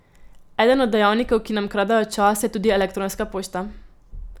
Eden od dejavnikov, ki nam kradejo čas, je tudi elektronska pošta.